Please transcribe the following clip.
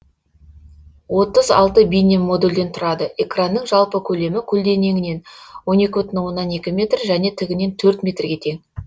отыз алты бейнемодульден тұрады экранының жалпы көлемі көлденеңінен он екі бүтін оннан екі метр және тігінен төрт метрге тең